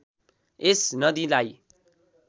यस नदीलाई